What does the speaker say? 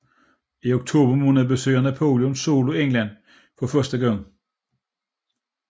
I oktober måned besøger Napoleon Solo England for første gang